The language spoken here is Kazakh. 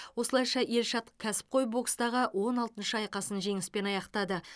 осылайша елшат кәсіпқой бокстағы он алтыншы айқасын жеңіспен аяқтады